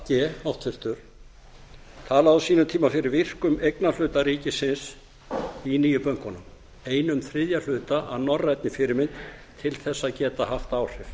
g háttvirtur talaði á sínum tíma fyrir virkum eignarhluta ríkisins í nýju bönkunum einn þriðja hluta að norrænni fyrirmynd til þess að geta haft áhrif